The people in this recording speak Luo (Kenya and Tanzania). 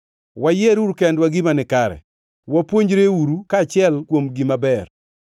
Wayieruru kendwa gima nikare; wapuonjreuru kaachiel kuom gima ber.